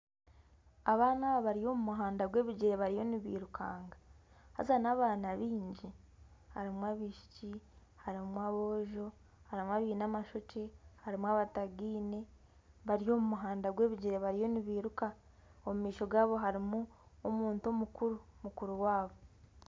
Abaana aba bari omu muhanda gw’ebigyere bariyo nibirukanga haaza n'abaana baingi harimu abaishiki harimu aboojo harimu abaine amashokye harimu abatagaine bari omu muhanda gw’ebigyere bariyo nibiruka omu maisho gaabo harimu omuntu mukuru, mukuru waabo.